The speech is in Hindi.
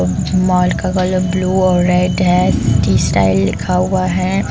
माल का कलर ब्लू और रेड है सिटी स्टाइल लिखा हुआ है।